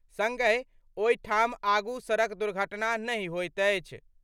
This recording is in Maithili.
संगहि, ओहि ठाम आगू सड़क दुर्घटना नहि होइत अछि।